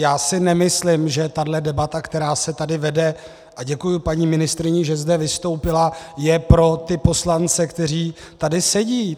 Já si nemyslím, že tahle debata, která se tady vede - a děkuji paní ministryni, že zde vystoupila - je pro ty poslance, kteří tady sedí.